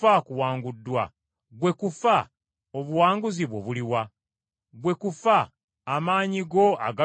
“Ggwe kufa, obuwanguzi bwo buluwa? Ggwe kufa, amaanyi go agalumya galuwa?”